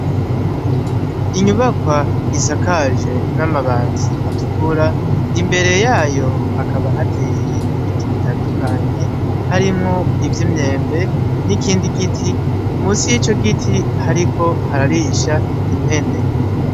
Inyubakwa isakajwe namabati atukura imbere yayo hakaba hateye ibiti bitandukanye harimwo ivyimyembe nikindi giti musi yico giti hariko hararisha impene